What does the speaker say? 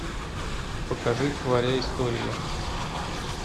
покажи творя историю